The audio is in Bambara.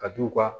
Ka d'u ka